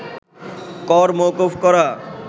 কর মওকুফ করা